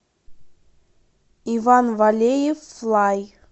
иван валеев флай